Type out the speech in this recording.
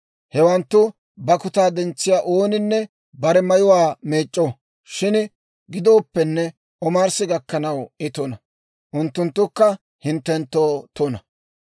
Hewanttu bakkutaa dentsiyaa ooninne bare mayuwaa meec'c'o; shin gidooppenne omarssi gakkanaw I tuna. Unttunttukka hinttenttoo tuna.